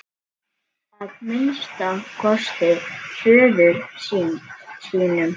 Að minnsta kosti föður sínum.